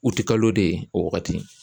U ti kalo de ye o wagati